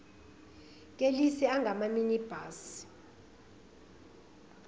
kelisi angama minibus